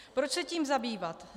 Proč se tím zabývat?